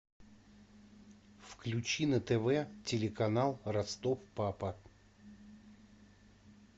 включи на тв телеканал ростов папа